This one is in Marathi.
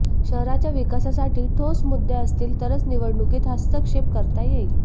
शहराच्या विकासासाठी ठोस मुद्दे असतील तरच निवडणुकीत हस्तक्षेप करता येईल